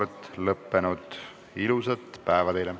Istungi lõpp kell 11.44.